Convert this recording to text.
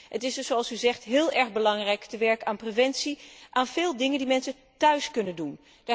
Het is dus, zoals u zegt, heel erg belangrijk te werken aan preventie, aan de vele dingen die mensen thuis kunnen doen.